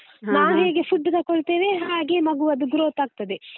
ಹೇಗೆ food ತಗೊಳ್ತೇವೆ ಹಾಗೆ ಮಗುವದು growth ಆಗ್ತದೆ.